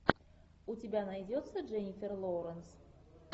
у тебя найдется дженнифер лоуренс